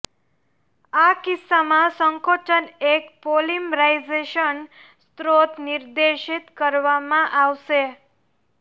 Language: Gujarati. આ કિસ્સામાં સંકોચન એક પોલિમરાઇઝેશન સ્ત્રોત નિર્દેશિત કરવામાં આવશે